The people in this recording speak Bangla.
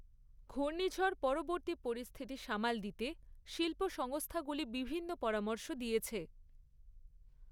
ঘূর্ণিঝড় পরবর্তী পরিস্থিতি সামাল দিতে শিল্প সংস্থাগুলি বিভিন্ন পরামর্শ দিয়েছে।